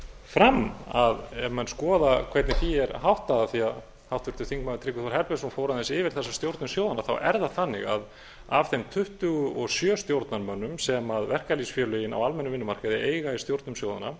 fram að ef menn skoða hvernig því er háttað af því að háttvirtur þingmaður tryggvi þór herbertsson fór aðeins yfir þessar stjórnir sjóðanna þá er það þannig að af þeim tuttugu og sjö stjórnarmönnum sem verkalýðsfélögin á almennum vinnumarkaði eiga í stjórnum sjóðanna